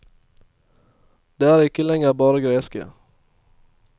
De er ikke lenger bare greske.